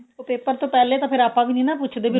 ਉਹ paper ਤੋਂ ਪਹਿਲੇ ਤਾਂ ਫੇਰ ਆਪਾਂ ਵੀ ਨੀ ਨਾ ਪੁੱਛਦੇ